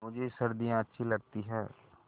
मुझे सर्दियाँ अच्छी लगती हैं